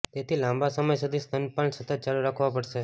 તેથી તે લાંબા સમય સુધી સ્તનપાન સતત ચાલુ રાખવું પડશે